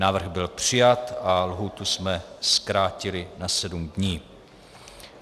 Návrh byl přijat a lhůtu jsme zkrátili na 7 dní.